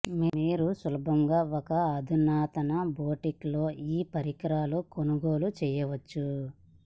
మీరు సులభంగా ఒక అధునాతన బోటిక్ లో ఈ పరికరాలు కొనుగోలు చేయవచ్చు